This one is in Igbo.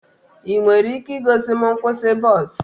Ị nwere ike igosi m nkwụsị bọs?